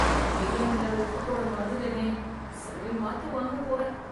பிரியாணில உப்பு போட மறந்துட்டனே, சரி மாத்து வாங்க போறேன்.